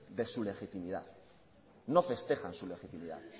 de su legitimidad no festejan su legitimidad